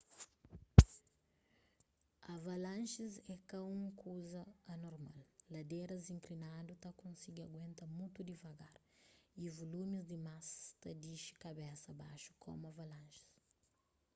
avalanjis é ka un kuza anormal ladéras inklinadu ta konsigi aguenta mutu divagar y vulumis dimas ta dixi kabesa baxu komu avanlanjis